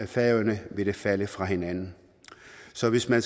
færøerne vil det falde fra hinanden så hvis man